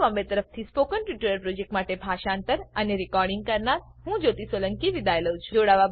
iit Bombay તરફથી spoken tutorial project માટે ભાષાંતર કરનાર હું જ્યોતી સોલંકી વિદાય લઉં છું